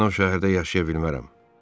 Mən o şəhərdə yaşaya bilmərəm.